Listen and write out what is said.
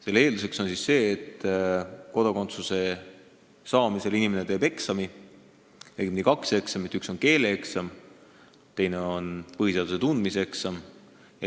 Kodakondsuse saamise eelduseks on see, et inimene teeb eksami, õigemini kaks eksamit: üks on keeleeksam, teine on põhiseaduse tundmise eksam.